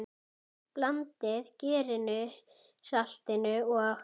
Blandið gerinu, saltinu og?